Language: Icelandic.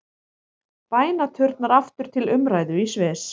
Bænaturnar aftur til umræðu í Sviss